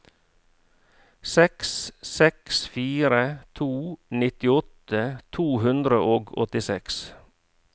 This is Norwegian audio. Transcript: seks seks fire to nittiåtte to hundre og åttiseks